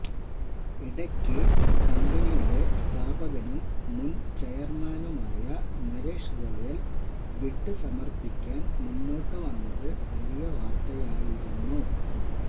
ഇടയ്ക്ക് കമ്ബനിയുടെ സ്ഥാപകനും മുന് ചെയര്മാനുമായ നരേഷ് ഗോയല് ബിഡ് സമര്പ്പിക്കാന് മുന്നോട്ട് വന്നത് വലിയ വാര്ത്തയായിരുന്നു